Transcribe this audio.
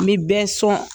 N bɛ bɛɛ sɔn